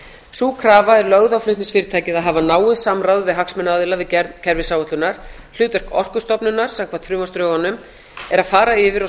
sú krafa er lögð á flutningsfyrirtækið að hafa náið samráð við hagsmunaaðila við gerð kerfisáætlunar hlutverk orkustofnunar samkvæmt frumvarpsdrögunum er að fara yfir og